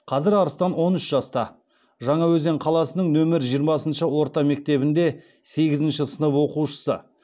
қазір арыстан он үш жаста жаңаөзен қаласының нөмір жиырмасыншы орта мектебінде сегізінші сынып оқушысы